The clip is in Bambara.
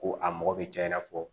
Ko a mɔgɔ bɛ caya i na fɔ